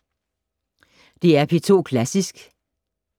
DR P2 Klassisk